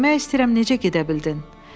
Demək istəyirəm necə gedə bildin?